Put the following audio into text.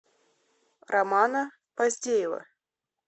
романа поздеева